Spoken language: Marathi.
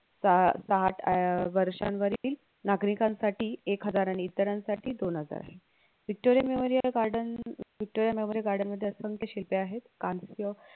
त ताट अह वर्षानवर्ती नागरिकांसाठी एक हजार आणि इतरांसाठी दोन हजार आहे Victoria memorial garden Victoria memorial garden मध्ये असंख्य शिल्पे आहेत कांस्य